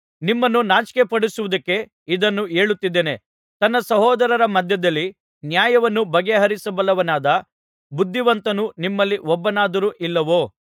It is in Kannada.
ನಿಮ್ಮನ್ನು ನಾಚಿಕೆಪಡಿಸುವುದಕ್ಕೆ ಇದನ್ನು ಹೇಳುತ್ತಿದ್ದೇನೆ ತನ್ನ ಸಹೋದರರ ಮಧ್ಯದಲ್ಲಿ ನ್ಯಾಯವನ್ನು ಬಗೆಹರಿಸಬಲ್ಲವನಾದ ಬುದ್ಧಿವಂತನು ನಿಮ್ಮಲ್ಲಿ ಒಬ್ಬನಾದರೂ ಇಲ್ಲವೋ